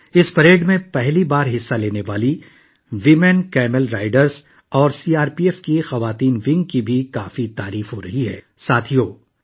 خواتین اونٹ سواروں اور سی آر پی ایف کے خواتین دستے کی، جس نے پہلی بار اس پریڈ میں حصہ لیا، کا بھی ستائش کی جا رہی ہے